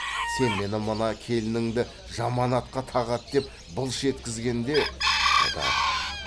сен мені мына келініңді жаман атқа тағады деп былш еткізгенде қодар